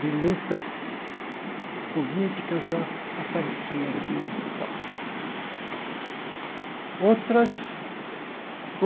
de lutas políticas, eu a apareci às vezes tal. Outras